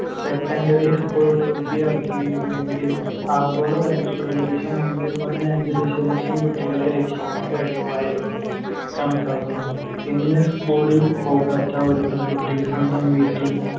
secondary school പൂർത്തിയാക്കിയിരുന്നെങ്കിൽ, ആഗോളതലത്തിൽ ഏകദേശം ഒന്ന് point അഞ്ച് ദശലക്ഷം കുട്ടികളെ രക്ഷിക്കാൻ കഴിയുമായിരുന്നു കണക്കാക്കുന്നു. ഇന്ന് school ല്‍ പോകാത്ത ഒരു പെൺകുട്ടി സ്വന്തം വീട്ടിൽ